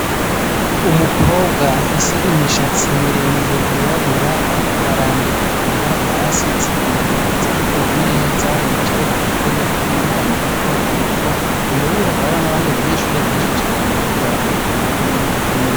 Umukobwa afise imishatsi miremire yirabura ariko arandika ku nkaratasi zibiri ziri ku meza yicaye ku gatebe k'akanyegamo gatogato, imbere yiwe hakaba hariho n'abandi banyeshure benshi cane bariko barandika nabo nyene nkuko nyene.